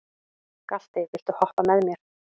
Galti, viltu hoppa með mér?